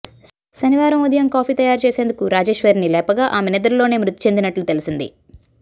శనివారం ఉదయం కాఫీ తయారుచేసేందుకు రాజేశ్వరిని లేపగా ఆమె నిద్రలోనే మృతిచెందినట్లు తెలిసింది